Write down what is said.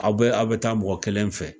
Aw bɛ a bɛ taa mɔgɔ kelen fɛ.